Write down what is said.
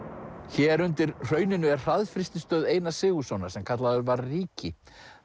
hér undir hrauninu er hraðfrystistöð Einar Sigurðssonar sem kallaður var ríki